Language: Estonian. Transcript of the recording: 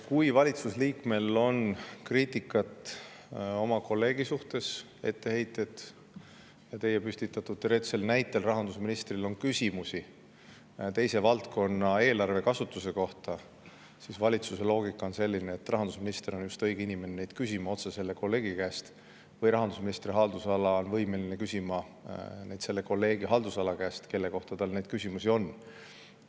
Kui valitsusliikmel on kriitikat oma kolleegi suhtes või etteheiteid talle, nagu teie teoreetilise näite põhjal on rahandusministril küsimusi teise valdkonna eelarve kasutuse kohta, siis valitsuse loogika on selline, et rahandusminister on just õige inimene küsima neid otse selle kolleegi käest või rahandusministri haldusala on võimeline küsima neid selle kolleegi haldusala käest, kelle kohta neid küsimusi on.